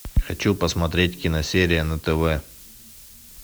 хочу посмотреть киносерия на тв